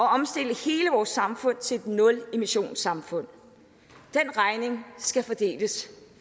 at omstille hele vores samfund til et nulemissionssamfund den regning skal fordeles